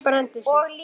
Thomas brenndi sig.